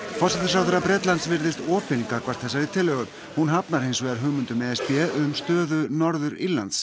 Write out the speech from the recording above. forsætisráðherra Bretlands virðist opin gagnvart þessari tillögu en hafnar hins vegar hugmyndum e s b um stöðu Norður Írlands